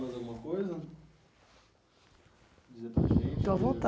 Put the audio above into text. Mais alguma coisa? Estou à